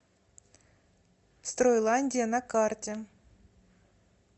стройландия на карте